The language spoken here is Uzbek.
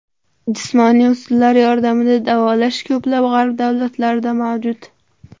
Jismoniy usullar yordamida davolash ko‘plab g‘arb davlatlarida mavjud.